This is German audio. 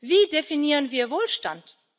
Wie definieren wir Wohlstand?